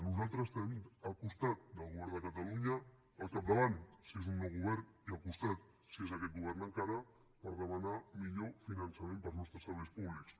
nosaltres estarem al costat del govern de catalunya al capdavant si és un nou govern i al costat si és aquest govern encara per demanar millor finançament per als nostres serveis públics